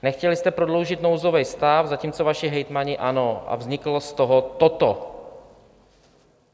Nechtěli jste prodloužit nouzový stav, zatímco vaši hejtmani ano, a vzniklo z toho toto.